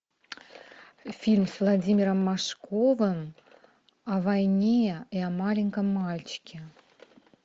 фильм с владимиром машковым о войне и о маленьком мальчике